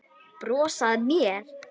Brosa að mér!